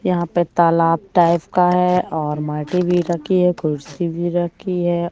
यहां पे तालाब टाइप का है और माटी भी रखी है कुर्सी भी रखी है।